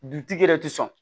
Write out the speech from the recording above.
Dutigi yɛrɛ tɛ sɔn